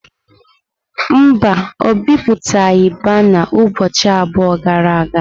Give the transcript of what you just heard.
Mba, o bipụtaghị bana ụbọchị abụọ gara aga.